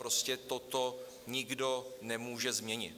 Prostě toto nikdo nemůže změnit.